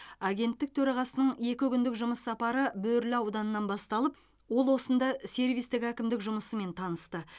агенттік төрағасының екі күндік жұмыс сапары бөрілі ауданынан басталып ол осында сервистік әкімдік жұмысымен танысты